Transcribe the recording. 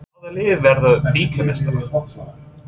Hvaða lið verður bikarmeistari?